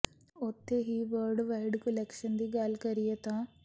ਉੱਥੇ ਹੀ world wide collection ਦੀ ਗੱਲ ਕਰੀਏ ਤਾਂ